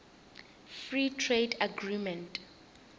free trade agreement